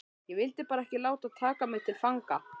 Ég vildi bara ekki láta taka mig til fanga